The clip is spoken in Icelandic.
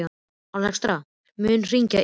Alexstrasa, mun rigna í dag?